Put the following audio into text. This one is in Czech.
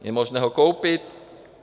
Je možné ho koupit.